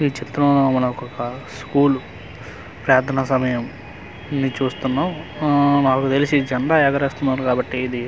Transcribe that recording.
ఈ చిత్రం లో మనకొక స్కూలు ప్రార్ధన సమయం ని చూస్తున్నాం ఊఊ నాకు తెలిసి జెండా ఎగురవేస్తున్నారు కాబట్టి ఇది ఇండిపెండె--